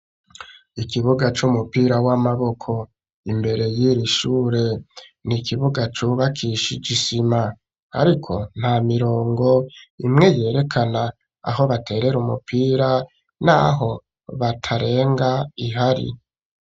Ikibuga c'umupira w'amaboko imbere yiri ishure ni ikibuga cubakishaijisima, ariko nta mirongo imwe yerekana aho baterere umupira, naho batarenga ihari.